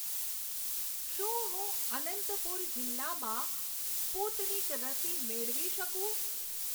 શું હું અનંતપુર જિલ્લામાં સ્પુતનિક રસી મેળવી શકું?